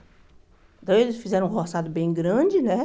Então eles fizeram um roçado bem grande, né?